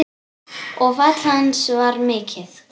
Og fall hans var mikið.